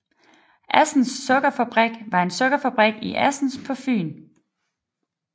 Assens Sukkerfabrik var en sukkerfabrik i Assens på Fyn